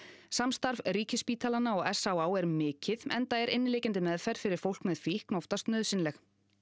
samstarf ríkisspítalanna og s á á er mikið enda er inniliggjandi meðferð fyrir fólk með fíkn oftast nauðsynleg